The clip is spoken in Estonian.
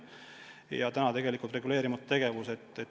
Praegu on see tegelikult reguleerimata tegevus.